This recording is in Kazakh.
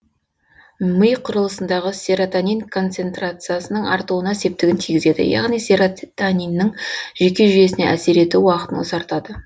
ми құрылысындағы серотонин концентрациясының артуына септігін тигізеді яғни сероттониннің жүйке жүйесіне әсер ету уақытын ұзартады